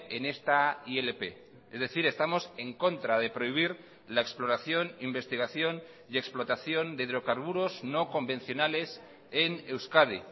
en esta ilp es decir estamos en contra de prohibir la exploración investigación y explotación de hidrocarburos no convencionales en euskadi